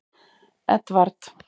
Edvard